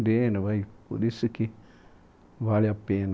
né, por isso que vale a pena